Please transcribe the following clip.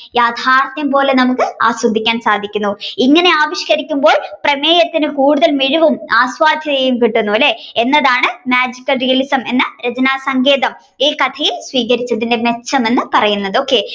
യാഥ്യാർഥ്യം പോലെ തന്നെ നമ്മുക്ക് ആസ്വദിക്കാൻ സാധിക്കുന്നു ഇങ്ങനെ ആവിഷ്കരിക്കുമ്പോൾ പ്രമേയത്തിന് കൂടുതൽ മിഴിവും കിട്ടുന്നു അല്ലെ എന്നതാണ് Magical realism എന്ന രചനാസങ്കേതം ഈ കഥയിൽ സ്വീകരിച്ചതിന്റെ മെച്ചം എന്ന് പറയുന്നത് okay